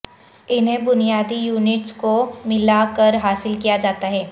انہیں بنیادی یونٹس کو ملا کر حاصل کیا جاتا ہے